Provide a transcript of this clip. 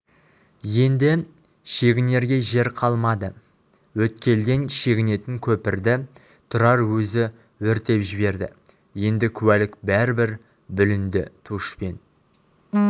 енді шегінерге жер қалмады өткелден шегінетін көпірді тұрар өзі өртеп жіберді енді куәлік бәрібір бүлінді тушпен